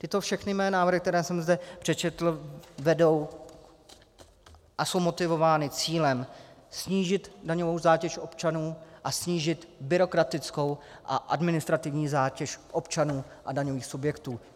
Tyto všechny mé návrhy, které jsem zde přečetl, vedou a jsou motivovány cílem snížit daňovou zátěž občanů a snížit byrokratickou a administrativní zátěž občanů a daňových subjektů.